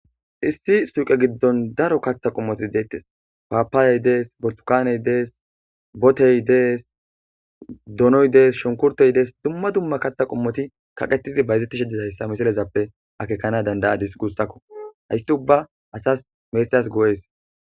Issi suuqe giddon daro kaththa qommoti deettes paapaayey dees bortukaaney dees botey dees doonoy dees shonkurtey dees dumma dumma kaththa qommoti kaqetidi bayzettishe disayssa misilezappe akekana dandayadis guussakko haysti ubba asas meexeas goo7ees.